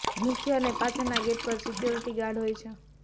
મુખ્ય અને પાછળના ગેટ પર સિક્યોરિટી ગાર્ડ હોય છે